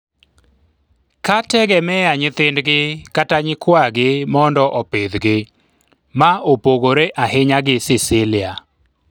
ka tegemea nyithindgi kata nyikwagi mondo opidhgi, ma opogore ahinya gi Cicilia